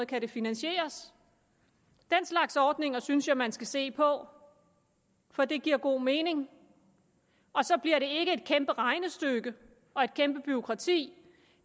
kan det finansieres den slags ordninger synes jeg man skal se på for det giver god mening og så bliver det et kæmpe regnestykke og et kæmpe bureaukrati